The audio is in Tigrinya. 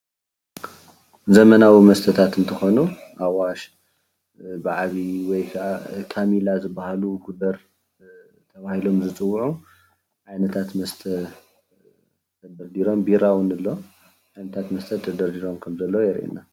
ዘመናዊ መስተታት እንተኮኑ ኣዋሽ ብዓብይ ወይ ከዓ ካሜላ ዝባሃሉ ኩበር ተባሂሎም ዝፅዉዑ ዓይነታት መስተ ቢራ እውን ኣሎ ።ዓይነታት መስተ ተደርዲሮም ከም ዘለዉ የርእየና፡፡